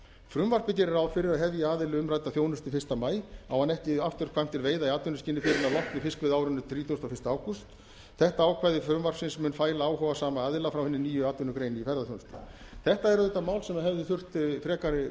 frumvarpið gerir ráð fyrir að hefji aðili umrædda þjónustu fyrsta maí á hann ekki afturkvæmt til veiða í atvinnuskyni fyrr en að loknu fiskveiðiárinu þrítugasta og fyrsta ágúst þetta ákvæði frumvarpsins mun fæla áhugasama aðila frá hinni nýju atvinnugrein í ferðaþjónustu þetta er auðvitað mál sem hefði þurft frekari